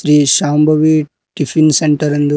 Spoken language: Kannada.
ಶ್ರೀ ಶಾಂಭವಿ ಟಿಫಿನ್ ಸೆಂಟರ್ ಎಂದು--